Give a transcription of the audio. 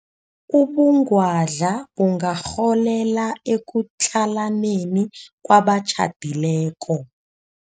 Ubungwadla bungarholela ekutlhalaneni kwabatjhadileko.